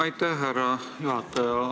Aitäh, härra juhataja!